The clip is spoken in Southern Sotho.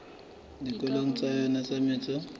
dikarolong tsa yona tsa metso